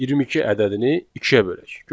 22 ədədini ikiyə bölək.